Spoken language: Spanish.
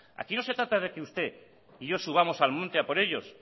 aquí no se trata de que usted y yo subamos al monte a por ellos